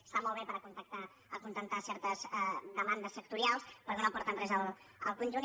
està molt bé per acontentar certes demandes sectorials però que no aporten res al conjunt